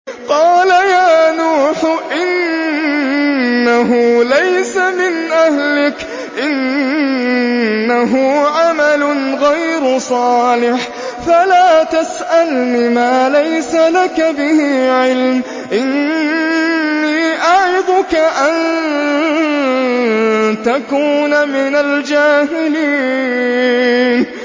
قَالَ يَا نُوحُ إِنَّهُ لَيْسَ مِنْ أَهْلِكَ ۖ إِنَّهُ عَمَلٌ غَيْرُ صَالِحٍ ۖ فَلَا تَسْأَلْنِ مَا لَيْسَ لَكَ بِهِ عِلْمٌ ۖ إِنِّي أَعِظُكَ أَن تَكُونَ مِنَ الْجَاهِلِينَ